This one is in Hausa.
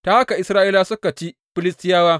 Ta haka Isra’ilawa suka ci Filistiyawa.